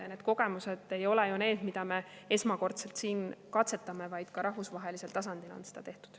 Ja need kogemused ei, mida me esmakordselt siin katsetame, vaid ka rahvusvahelisel tasandil on seda tehtud.